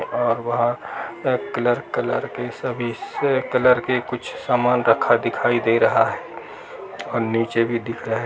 और बाहर colour colour के सभी कलर के कुछ सामान रखा दिखाई दे रहा है और नीचे भी दिख रहा है |